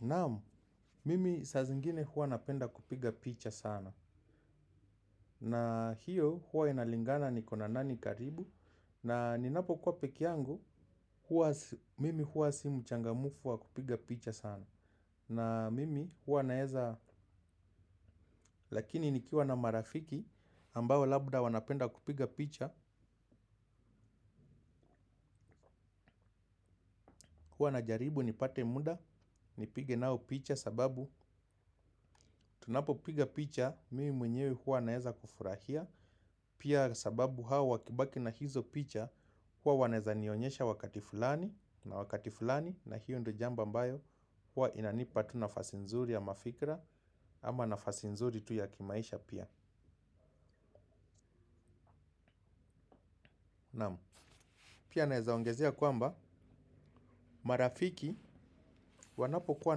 Naam, mimi saa zingine huwa napenda kupiga picha sana. Naa, hiyo, huwa inalingana nikona nani karibu. Naa ninapo kuwa peke yangu, mimi huwa si mchangamfu wa kupiga picha sana. Naa mimi, huwa naeza, lakini nikiwa na marafiki ambao labda wanapenda kupiga picha. Huwa najaribu nipate muda, nipige nao picha sababu tunapo piga picha, mimi mwenyewe huwa naeza kufurahia, pia sababu hao wakibaki na hizo picha, huwa wanaeza nionyesha wakati fulani na wakati fulani, na hiyo ndo jambo ambayo huwa inanipa tu nafasi nzuri ya mafikra ama nafasi nzuri tu ya kimaisha pia pia naeza ongezea kwamba, marafiki, wanapo kuwa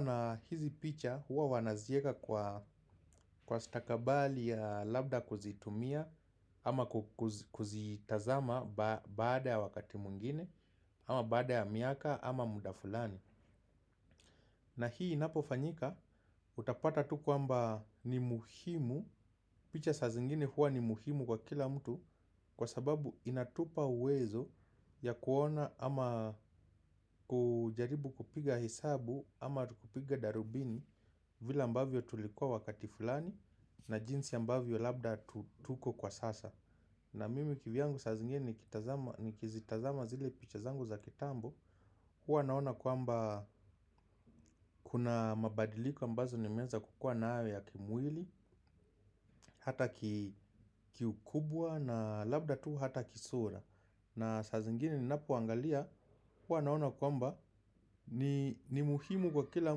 na hizi picha huwa wanazieka kwa stakabali ya labda kuzitumia ama kuzitazama baada ya wakati mwingine ama bada ya miaka ama muda fulani. Na hii inapofanyika utapata tu kwamba ni muhimu, picha sa zingine huwa ni muhimu kwa kila mtu. Kwa sababu inatupa uwezo ya kuona ama kujaribu kupiga hesabu ama kupiga darubini vile ambavyo tulikuwa wakati fulani na jinsi ambavyo labda tuko kwa sasa. Na mimi kivyangu sa zingine nikizitazama zile picha zangu za kitambo, huwa naona kwamba, kuna mabadiliko ambazo nimeanza kukua nayo ya kimwili, hata kiukubwa na labda tuu hata kisura na saa zingine ninapoangalia, huwa naona kwamba ni muhimu kwa kila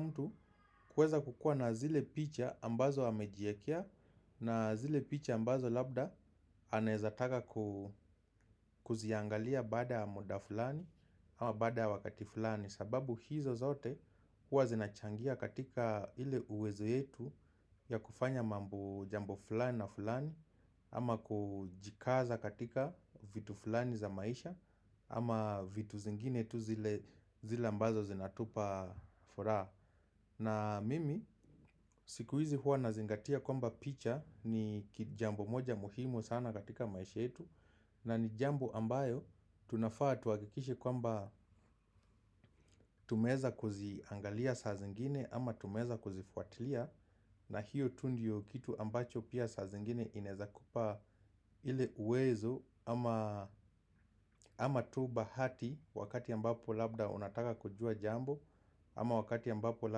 mtu. Kuweza kukua na zile picha ambazo amejiekea na zile picha ambazo labda anaezataka kuziangalia bada ya muda fulani ama baada ya wakati fulani, sababu hizo zote huwa zinachangia katika ile uwezo yetu ya kufanya mambo jambo fulani na fulani ama kujikaza katika vitu fulani za maisha ama vitu zingine tu zile ambazo zinatupa furaha na mimi siku hizi huwa nazingatia kwamba picha ni jambo moja muhimu sana katika maisha yetu, na ni jambo ambayo tunafaa tuhakikiishe kwamba tumeweza kuziangalia saa zingine ama tumeweza kuzifuatilia. Na hiyo tu ndio kitu ambacho pia saa zingine inaezakupa ile uwezo ama tu bahati wakati ambapo labda unataka kujua jambo ama wakati ambapo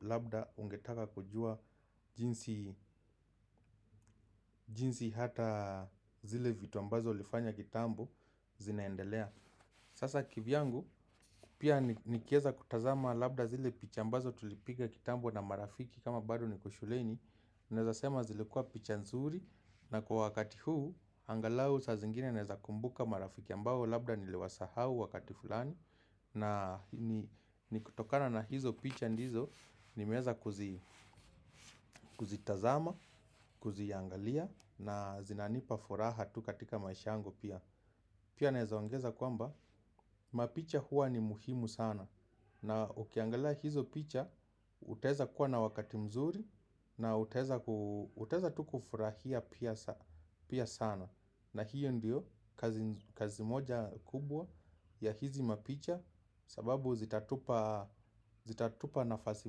labda ungetaka kujua jinsi jinsi hataa, zile vitu ambazo ulifanya kitambo zinaendelea. Sasa kivyangu, pia nikieza kutazama labda zile picha ambazo tulipiga kitambo na marafiki kama bado niko shuleni, naeza sema zilkua picha nzuri na kwa wakati huu, angalau sa zingine naeza kumbuka marafiki ambao labda niliwasahau wakati fulani na, ni kutokana na hizo picha ndizo, nimeweza kuzi, kuzitazama, kuziangalia na zinanipa furaha tu katika maisha yangu pia. Pia naeza ongeza kwamba mapicha huwa ni muhimu sana na ukiangalia hizo picha utaeza kuwa na wakati mzuri na utaeza tu kufurahia pia sana na hiyo ndio kazi kazi moja kubwa ya hizi mapicha, sababu zitatupaa, zitatupa nafasi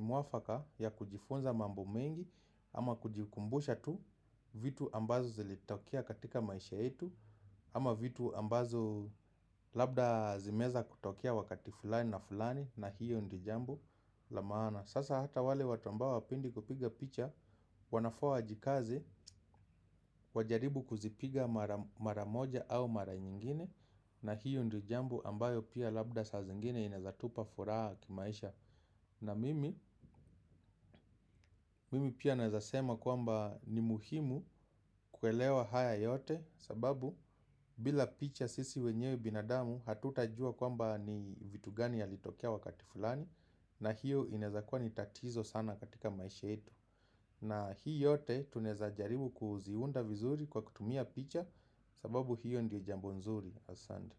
mwafaka ya kujifunza mambo mengi ama kujikumbusha tu vitu ambazo zilitokea katika maisha yetu ama vitu ambazo labda zimeweza kutokea wakati fulani na fulani na hiyo ndio jambo la maana, sasa hata wale watu ambao hawapendi kupiga picha wanafaa wajikaze wajaribu kuzipiga mara moja au mara nyingine, na hiyo ndio jambo ambayo pia labda sa zingine inaeza tupa furaha kimaisha na mimi, mimi pia naeza sema kwamba, ni muhimu, kuelewa haya yote. Sababu bila picha sisi wenyewe binadamu, hatutajua kwamba ni vitu gani yalitokea wakati fulani na hiyo inaeza kuwa ni tatizo sana katika maisha yetu na hii yote tunaeza jaribu kuziunda vizuri kwa kutumia picha. Sababu hiyo ndio jambo nzuri, asante.